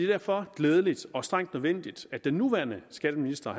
derfor glædeligt og strengt nødvendigt at den nuværende skatteminister